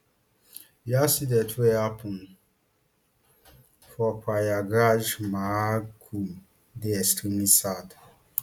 di accident wey happun for prayagraj maha kumbh dey extremely sad